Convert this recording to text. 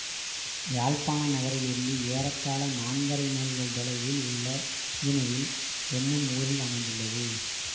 யாழ்ப்பாண நகரிலிருந்து ஏறத்தாழ நான்கரை மைல்கள் தொலைவில் உள்ள இணுவில் என்னும் ஊரில் அமைந்துள்ளது